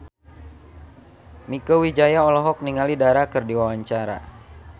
Mieke Wijaya olohok ningali Dara keur diwawancara